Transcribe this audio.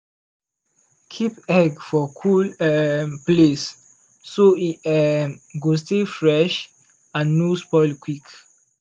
keep egg for cool um place so e um go stay fresh and no spoil quick.